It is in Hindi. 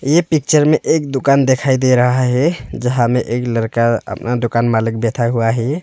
ये पिक्चर में एक दुकान दिखाई दे रहा है यहां में एक लड़का अपना दुकान मालिक बैठा हुआ है।